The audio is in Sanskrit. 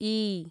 ई